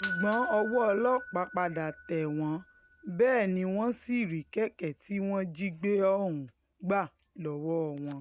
ṣùgbọ́n ọwọ́ ọlọ́pàá padà tẹ̀ wọ́n bẹ́ẹ̀ ni wọ́n sì rí kẹ̀kẹ́ tí wọ́n jí gbé ohùn gbà lọ́wọ́ wọn